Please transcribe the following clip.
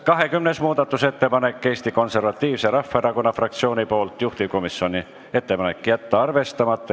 20. muudatusettepanek Eesti Konservatiivse Rahvaerakonna fraktsioonilt, juhtivkomisjoni ettepanek: jätta arvestamata.